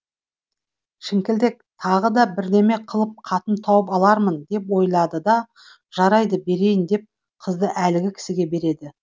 шіңкілдек тағы да бірдеме қылып қатын тауып алармын деп ойлайды да жарайды берейін деп қызды әлгі кісіге береді